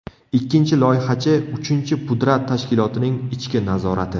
Ikkinchi loyihachi, uchinchi pudrat tashkilotining ichki nazorati.